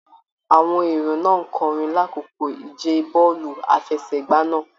Àwọn èrò náà n kọrin l'akoko ìje bọọlu àfẹ́sẹ̀gbà náà.